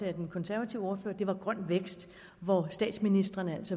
af den konservative ordfører grøn vækst og statsministrene